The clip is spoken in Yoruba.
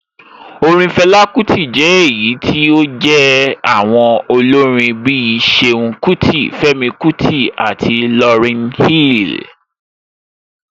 Orin Fela Kuti jẹ́ èyí tí ó jé àwọn olórin bí i Ṣeun Kuti, Femi Kuti àti Lauryn Hill.